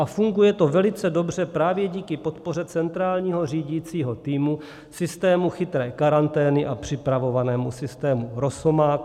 A funguje to velice dobře právě díky podpoře centrálního řídícího týmu, systému chytré karantény a připravovanému systému Rosomák.